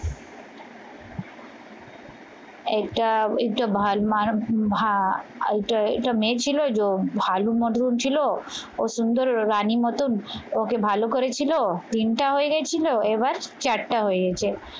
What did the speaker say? একটা এটা মেয়ে ছিল ভানু মধুর ছিল ও সুন্দর রানীর মতন ওকে ভালো করেছিল তিনটা হয়ে গেছিল এবার চারটা হয়ে গেছে।